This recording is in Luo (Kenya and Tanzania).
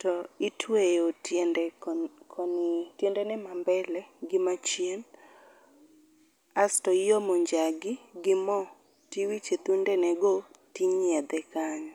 to itueyo tiende koni tiendene ma mbele gi machien kas to iomo njagi gi mo kasto iwicho e thundene go to inyiedhe kanyo.